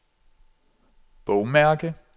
bogmærke